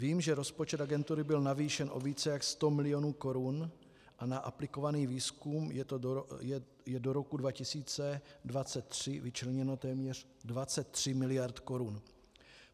Vím, že rozpočet agentury byl navýšen o více jak sto milionů korun a na aplikovaný výzkum je do roku 2023 vyčleněno téměř 23 miliard korun.